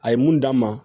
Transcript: A ye mun d'a ma